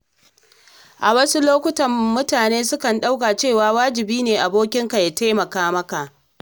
A wasu lokuta, mutane sukan ɗauka cewa wajibi ne abokinka ya taimaka maka.